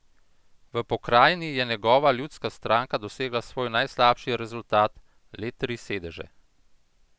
V pokrajini je njegova Ljudska stranka dosegla svoj najslabši rezultat, le tri sedeže.